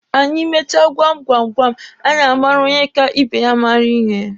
Anyị mechaa gwam gwam gwam, anyị amara onye ka ibe ya mara ihe.